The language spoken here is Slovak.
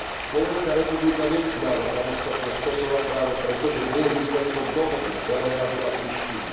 Slovenská republika neuznáva samostatnosť Kosova práve preto, že nie je výsledkom dohody Belehradu a Prištiny.